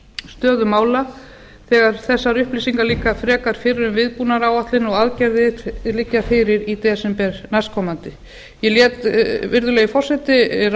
stöðu mála þegar þessar upplýsingar liggja frekar fyrir um viðbúnaðaráætlun og aðgerðir liggja fyrir í desember næstkomandi ég lét virðulegi forseti